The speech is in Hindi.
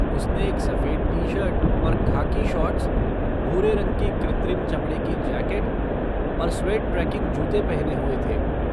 उसने एक सफ़ेद टी शर्ट और खाकी शॉर्ट्स, भूरे रंग की कृत्रिम चमड़े की जैकेट और स्वैड ट्रेकिंग जूते पहने हुए थे।